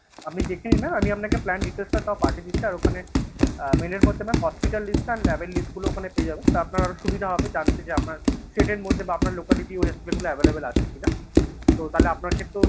আপনি দেখে নিন mam আমি আপনাকে plan details টা তাও পাঠিয়ে দিচ্ছি। আর ওখানে Mail এর মধ্যে মানে hospital list আর lab এর list গুলো ওখানে পেয়ে যাবেন, তো আপনার আরো সুবিধা হবে। জানতে যে আপনার set এর মধ্যে বা আপনার locality wise যে গুলো available আছে কিনা তো তাহলে আপনার ক্ষেত্রেও